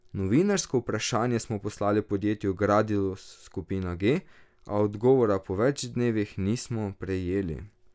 Novinarsko vprašanje smo poslali podjetju Gradis Skupina G, a odgovora po več dnevih nismo prejeli.